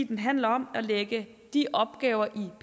den handler om at lægge de opgaver